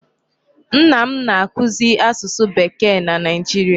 Nna m na-akụzị asusu Bekee na Nigeria.